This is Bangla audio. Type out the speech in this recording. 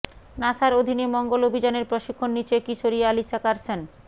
নাসার অধীনে মঙ্গল অভিযানের প্রশিক্ষণ নিচ্ছে কিশোরী অ্যালিসা কার্সন